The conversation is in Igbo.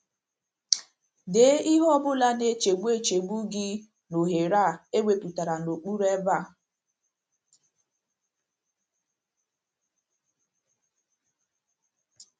Dee ihe ọ bụla na - echegbu - echegbu gị n’ohere e wepụtara n’okpuru ebe a.